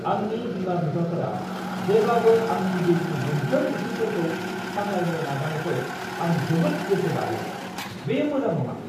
आंनि बिमा-बिफाफोरा जेब्लाबो आंनि जिउनि मोनफ्रोम बिथिंफोरखौ सामलायनो नाजानायखौ आं जोबोद गोसो बायो। बेयो मोजां नङा।